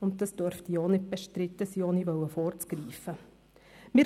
Dieses dürfte auch nicht bestritten sein, ohne vorgreifen zu wollen.